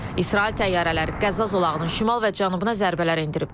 İsrail təyyarələri Qəzza zolağının şimal və cənubuna zərbələr endirib.